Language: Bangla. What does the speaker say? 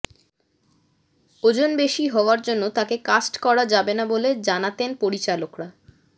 ওজন বেশি হওয়ার জন্য তাঁকে কাস্ট করা যাবে না বলে জানাতেন পরিচালকরা